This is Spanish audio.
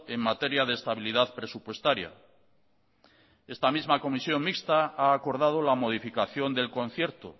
en materia de estabilidad presupuestaria esta misma comisión mixta ha acordado la modificación del concierto